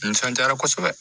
Nisɔndiyara kosɛbɛ